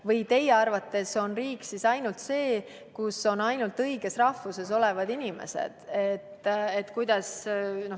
Või on teie arvates riik ainult see, kus on ainult õigest rahvusest inimesed?